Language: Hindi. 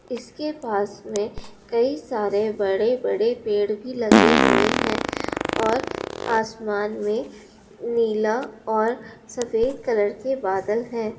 इसके पास में कई सारे बड़े- बड़े पेड भी लगे हुए है और आसमान में नीला और सफेद कलर के बादल है ।